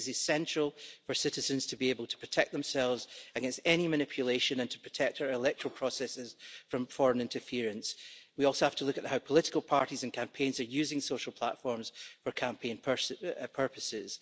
This is essential for citizens to be able to protect themselves against any manipulation and to protect our electoral processes from foreign interference. We also have to look at how political parties and campaigns are using social platforms for campaign purposes.